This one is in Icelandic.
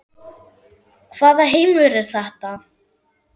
Hvaða heimur er þetta?